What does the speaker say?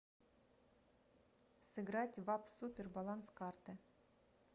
сыграть в апп супер баланс карты